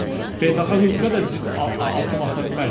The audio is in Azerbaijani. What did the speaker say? Biz beynəlxalq hüquqa da zidd addım ata bilmərik.